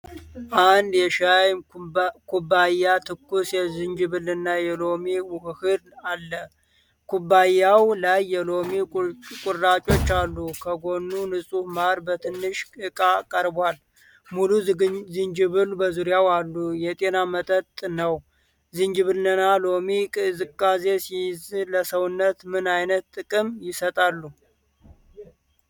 አንድ የሻይ ኩባያ ትኩስ የዝንጅብልና የሎሚ ውህድ አለ። ኩባያው ላይ የሎሚ ቁራጮች አሉ። ከጎኑ ንጹህ ማር በትንሽ ዕቃ ቀርቧል። ሙሉ ዝንጅብሎች በዙሪያው አሉ። የጤና መጠጥ ነው። ዝንጅብልና ሎሚ ቅዝቃዜ ሲይዝ ለሰውነት ምን ዓይነት ጥቅም ይሰጣሉ?